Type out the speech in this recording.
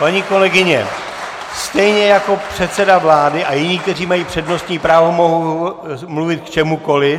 Paní kolegyně, stejně jako předseda vlády a jiní, kteří mají přednostní právo, mohou mluvit k čemukoli.